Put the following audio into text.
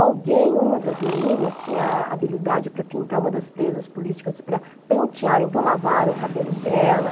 Alguém, uma das meninas, tinha a habilidade para pintar uma das presas políticas, para pentear, então lavaram o cabelo dela.